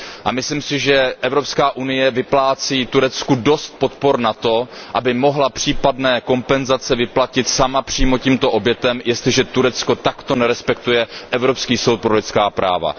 A myslím si, že Evropská unie vyplácí Turecku dost podpor na to, aby mohla případné kompenzace vyplatit sama přímo těmto obětem, jestliže Turecko takto nerespektuje Evropský soud pro lidská práva.